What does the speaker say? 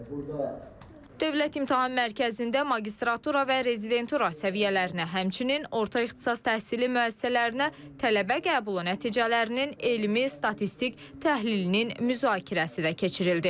Burda Dövlət İmtahan Mərkəzində magistratura və rezidentura səviyyələrinə, həmçinin orta ixtisas təhsili müəssisələrinə tələbə qəbulu nəticələrinin elmi statistik təhlilinin müzakirəsi də keçirildi.